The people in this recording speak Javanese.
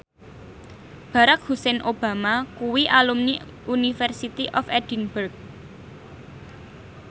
Barack Hussein Obama kuwi alumni University of Edinburgh